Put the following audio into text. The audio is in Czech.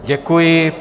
Děkuji.